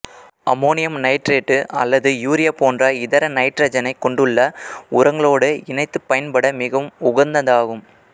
ammonium nitrate அல்லது urea போன்ற இதர நைட்ரசனைக் கொண்டுள்ள உரங்களோடு இணைத்துப் பயன்பட மிகவும் உகந்ததாகும்